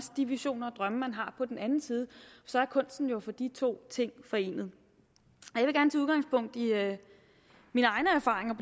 de visioner og drømme man har på den anden side så er kunsten jo at få de to ting forenet jeg